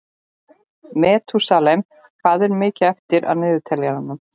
Metúsalem, hvað er mikið eftir af niðurteljaranum?